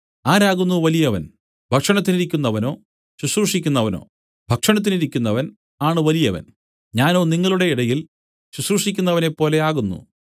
ആരാകുന്നു വലിയവൻ ഭക്ഷണത്തിനിരിക്കുന്നവനോ ശുശ്രൂഷിക്കുന്നവനോ ഭക്ഷണത്തിനിരിക്കുന്നവൻ ആണ് വലിയവൻ ഞാനോ നിങ്ങളുടെ ഇടയിൽ ശുശ്രൂഷിക്കുന്നവനെപ്പോലെ ആകുന്നു